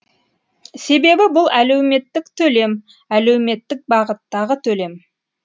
себебі бұл әлеуметтік төлем әлеуметтік бағыттағы төлем